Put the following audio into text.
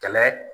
Kɛlɛ